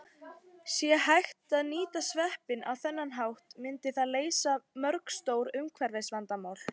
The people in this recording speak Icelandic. Sé hægt að nýta sveppi á þennan hátt myndi það leysa mörg stór umhverfisvandamál.